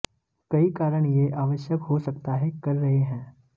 कई कारण यह आवश्यक हो सकता है कर रहे हैं